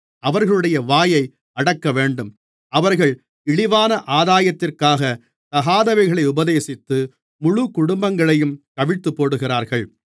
அவர்களுடைய வாயை அடக்கவேண்டும் அவர்கள் இழிவான ஆதாயத்திற்காகத் தகாதவைகளை உபதேசித்து முழுக்குடும்பங்களையும் கவிழ்த்துப்போடுகிறார்கள்